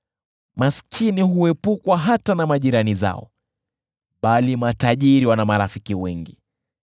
Maskini huepukwa hata na majirani zao, bali matajiri wana marafiki wengi.